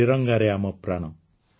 ତ୍ରିରଙ୍ଗାରେ ଆମ ପ୍ରାଣ